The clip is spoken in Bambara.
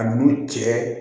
A n'u cɛ